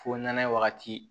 Fo nɛnɛ wagati